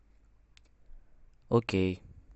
окей